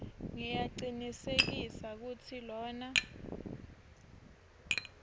ngiyacinisekisa kutsi lona